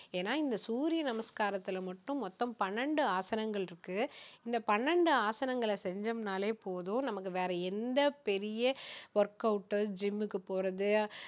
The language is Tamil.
ஏன்னா இந்த சூரிய நமஸ்காரத்துல மட்டும் மொத்தம் பன்னிரெண்டு ஆசனங்கள் இருக்கு இந்த பன்னிரெண்டு ஆசங்களை செஞ்சோம்னாலே போதும் நமக்கு வேற எந்த பெரிய work out ஓ gym க்கு போறது